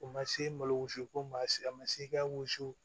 O ma se malo wusu ko ma siri a ma se ka wusu